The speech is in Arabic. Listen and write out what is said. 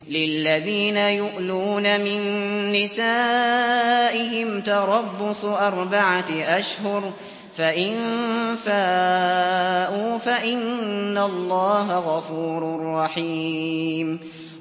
لِّلَّذِينَ يُؤْلُونَ مِن نِّسَائِهِمْ تَرَبُّصُ أَرْبَعَةِ أَشْهُرٍ ۖ فَإِن فَاءُوا فَإِنَّ اللَّهَ غَفُورٌ رَّحِيمٌ